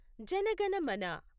Jana Gana Mana